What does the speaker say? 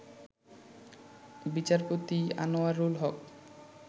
বিচারপতি আনোয়ারুল হক